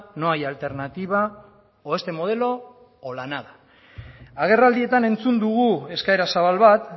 no hay alternativa o este modelo o la nada agerraldietan entzun dugu eskaera zabal bat